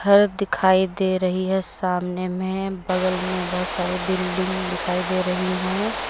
सडक दिखाई दे रही है सामने में बगल में बहुत सारे बिल्डिंग दिखाई दे रही हैं।